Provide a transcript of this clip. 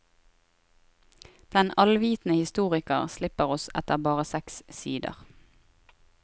Den allvitende historiker slipper oss etter bare seks sider.